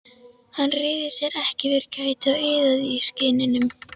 Hann réði sér ekki fyrir kæti og iðaði í skinninu.